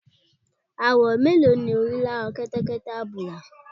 àwọ̀ mélòó ni o rí lára Kẹtẹkẹtẹ abìlà?